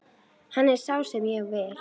Hann er sá sem ég vil.